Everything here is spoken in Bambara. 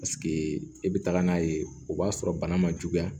Paseke e bɛ taga n'a ye o b'a sɔrɔ bana ma juguya